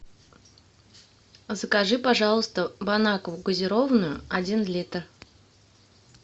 закажи пожалуйста бон акву газированную один литр